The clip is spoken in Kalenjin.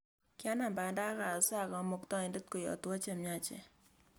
Kianam banda akasaa Kamuktaindet koyatwo che miach